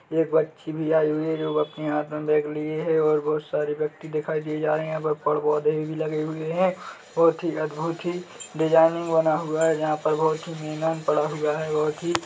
एक बच्ची भी आई हुई है जो अपने हाथ में बेग लिए है और बहोत सारे व्यक्ति दिखाई दिए जा रहे है यहाँ पेड़-पौधे भी लगे हुए है बहोत ही अद्भुत ही डिजायनिंग बना हुआ है जहाँ पर बहोत ही मैदान पड़ा हुआ है बहोत ही --